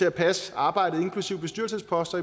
at passe arbejdet inklusive bestyrelsesposter